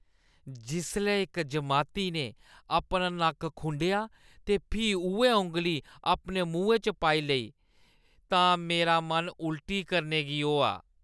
जिसलै इक जमाती ने अपना नक्क खुंडेआ ते फ्ही उ'ऐ औंगली अपने मुहैं च पाई लेई तां मेरा मन उल्टी करने गी होआ।